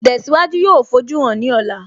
Ìtẹ̀síwájú yóò fojúhàn ní ọ̀la